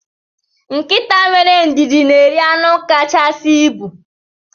Nkịta wéré ndidi na eri anu kachasị ịbụ.